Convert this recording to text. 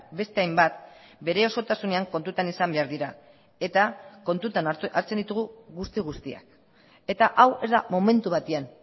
beste hainbat bere osotasunean kontutan izan behar dira eta kontutan hartzen ditugu guzti guztiak eta hau ez da momentu batean